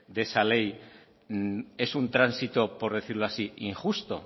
de esa ley es un tránsito por decirlo así injusto